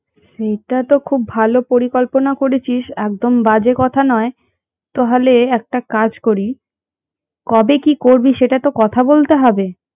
সেটা তো খুব ভালো পরিকল্পনা করেছিস একদম বাজে কথা নয় তাহলে একটা কাজ করি কবে কি করবি সেটা তো কথা বলতে হবে